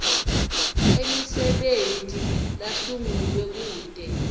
emisebenti lasungulwe kute